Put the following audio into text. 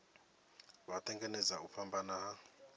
vha tanganedza u fhambana ha